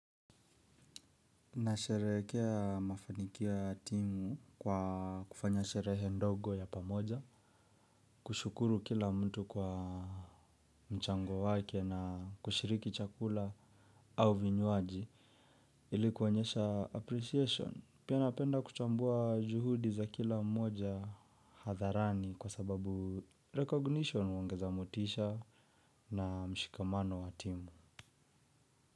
Na sherehekea mafanikio ya timu kwa kufanya sherehe ndogo ya pamoja, kushukuru kila mtu kwa mchango wake na kushiriki chakula au vinywaji ili kuonesha appreciation. Pia napenda kuchambua juhudi za kila mmoja hatharani kwa sababu recognition huongeza motisha na mshikamano wa timu.